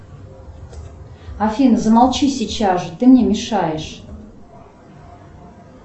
афина замолчи сейчас же ты мне мешаешь